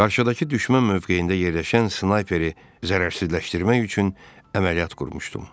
Qarşıdakı düşmən mövqeyində yerləşən snayperi zərərsizləşdirmək üçün əməliyyat qurmuşdum.